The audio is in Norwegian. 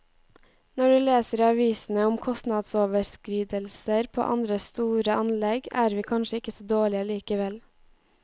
Når du leser i avisene om kostnadsoverskridelser på andre store anlegg, er vi kanskje ikke så dårlige likevel.